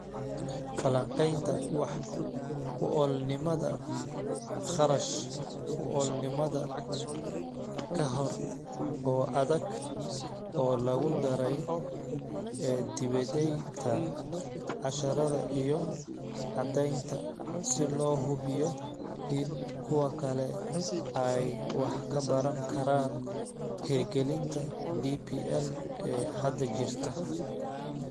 Falanqaynta wax ku oolnimada kharash-ku-oolnimada ka hor, oo adag, oo lagu daray dibedaynta casharrada iyo caddaynta si loo hubiyo in kuwa kale ay wax ka baran karaan hirgelinta DPL ee hadda jirta.